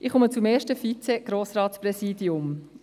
Ich komme zum ersten Vize-Grossratspräsidium: